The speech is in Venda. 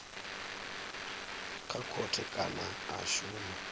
kha khothe kana a shuma